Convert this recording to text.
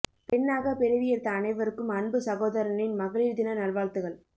பெண்ணாக பிறவி எடுத்த அனைவருக்கும் அன்பு சகோதரனின் மகளீர் தின நல்வாழ்த்துக்கள்